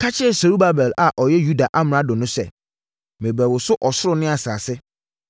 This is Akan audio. “Ka kyerɛ Serubabel a ɔyɛ Yuda amrado no sɛ, merebɛwoso ɔsoro ne asase.